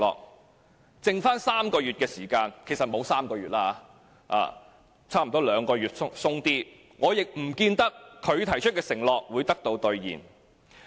在他任期餘下3個月的時間——其實沒有3個月，差不多兩個月多一些——我亦不見得他提出的承諾會得到兌現。